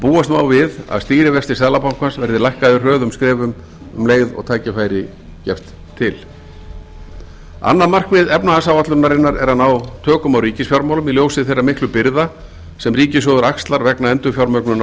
búast má við að stýrivextir seðlabankans verði lækkaðir hröðum skrefum um leið og tækifæri gefst til annað markmið efnahagsáætlunarinnar er að ná tökum á ríkisfjármálum í ljósi þeirra miklu byrða sem ríkissjóður axlar vegna endurfjármögnunar